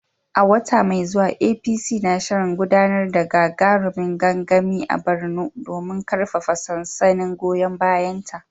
A wata mai zuwa APC na shirin gudanar da gagarumin gangami a Borno domin karfafa sansanin goyon bayanta.